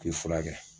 K'i furakɛ